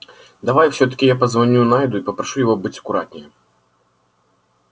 давай всё-таки я позвоню найду и попрошу его быть аккуратнее